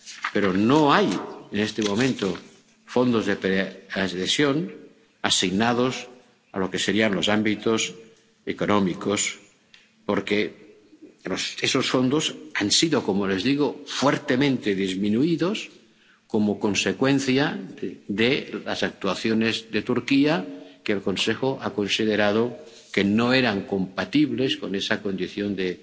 Pero no hay en este momento fondos de preadhesión asignados a los ámbitos económicos, porque esos fondos han sido, como les digo, fuertemente disminuidos como consecuencia de las actuaciones de Turquía, que el Consejo ha considerado que no eran compatibles con esa condición